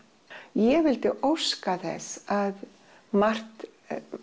ég vildi óska þess að margt